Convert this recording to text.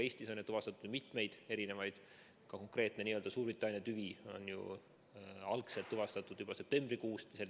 Eestis on ju tuvastatud mitmeid erinevaid, ka konkreetne Suurbritannia tüvi algselt tuvastati juba septembrikuus.